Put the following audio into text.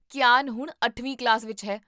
ਕੀਆਨ ਹੁਣ ਅੱਠਵੀਂ ਕਲਾਸ ਵਿੱਚ ਹੈ